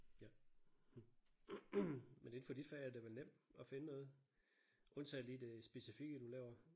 Ja hm men inden for dit fag er del vel nemt at finde noget undtagen lige det specifikke du laver